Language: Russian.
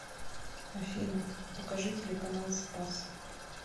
афина покажи телеканал спас